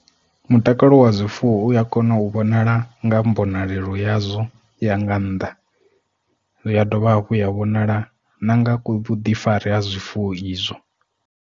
Mutakalo wa zwifuwo uya kona u vhonala nga mbonalelo yazwo ya nga nnḓa ya dovha hafhu ya vhonala na nga ku vhuḓifari ha zwifuwo izwo.